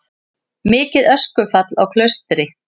Mikið öskufall á Klaustri